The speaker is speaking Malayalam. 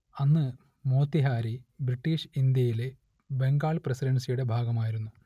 അന്ന് മോത്തിഹാരി ബ്രിട്ടീഷ് ഇന്ത്യയിലെ ബംഗാൾ പ്രസിഡൻസിയുടെ ഭാഗമായിരുന്നു